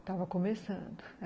Estava começando.